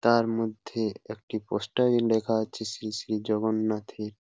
তার মধ্যে একটি পোস্টার -এ লেখা আছে শ্রী শ্রী জগন্নাথ এর--